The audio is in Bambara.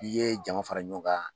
I ye jama fara ɲɔgɔn kan